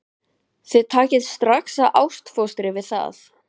Þið takið strax ástfóstri við það.